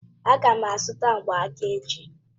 Aga m azụta mgbanaka echi.